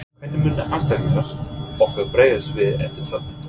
Hvernig munu andstæðingar okkar bregðast við eftir töpin?